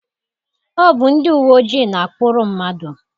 Ọ bụ ndị uwe ojii na-akpụrụ mmadụ.